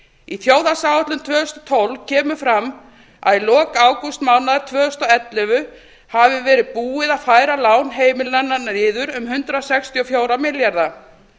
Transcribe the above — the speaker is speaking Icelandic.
í þjóðhagsáætlun tvö þúsund og tólf kemur fram að í lok ágústmánaðar tvö þúsund og ellefu hafi verið búið að færa lán heimilanna niður um hundrað sextíu og fjóra milljarða